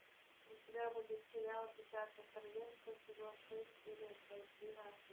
у тебя будет сериал десятое королевство сезон шесть серия двенадцать